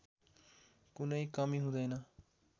कुनै कमी हुँदैन